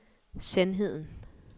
sandheden